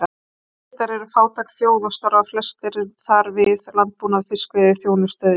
Egyptar eru fátæk þjóð og starfa flestir þar við landbúnað, fiskveiði, þjónustu eða iðnað.